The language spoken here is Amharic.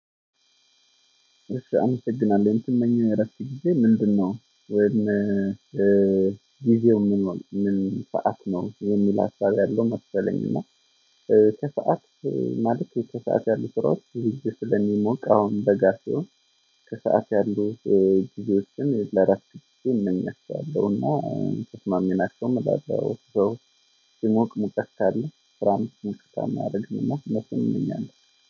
እሺ አመሰግናለሁ እንትን መኝ እረስቼ ጊዜ ምንድነው ወይም ጊዜው ምን ምን ሰዓት ነው የሚል ሀሳብ ያለው መሰለኝ። እና ከሰአት ማለት ከሰአት ያሉ ስራው ልጅ ስለሚሞቅ አሁን በጋር ሲሆን። ከሰአት ያሉ ጊዜዎች ግን ለአራት ጊዜ እንመስላለን እና ተስማሜ ናቸው የምላቸው በውስጤ ሞቅ ካለ ወፍራም ሙቀት አድርግና መሰለኝ። እኛን